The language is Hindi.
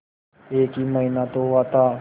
एक ही महीना तो हुआ था